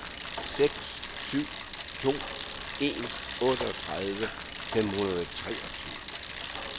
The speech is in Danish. seks syv to en otteogtredive fem hundrede og treogtyve